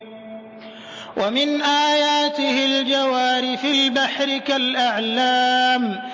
وَمِنْ آيَاتِهِ الْجَوَارِ فِي الْبَحْرِ كَالْأَعْلَامِ